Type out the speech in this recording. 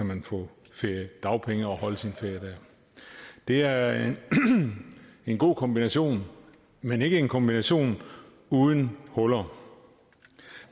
man få feriedagpenge og holde sin ferie der det er en god kombination men ikke en kombination uden huller